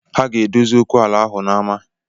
Ha ga-edozi okwu ala ahụ n’ama